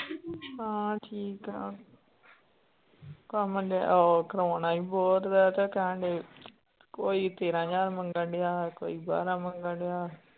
ਹਾਂ ਠੀਕ ਆ ਕੰਮ ਉਹ ਕਰਵਾਉਣਾ ਸੀ ਬੋਰ ਦਾ ਤੇ ਕਹਿੰਦੇ ਕੋਈ ਤੇਰਾਂ ਹਜ਼ਾਰ ਮੰਗਣਡਿਆ ਕੋਈ ਬਾਰਾਂ ਮੰਗਣਡਿਆ।